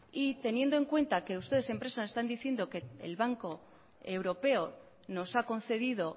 y teniendo en cuenta que ustedes en prensa están diciendo que el banco europeo nos ha concedido